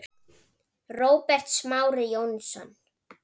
Róbert Smári Jónsson